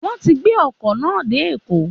Wọ́n ti gbé ọkọ̀ náà dé Èkó